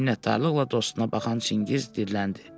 Minnətdarlıqla dostuna baxan Çingiz diriləndi.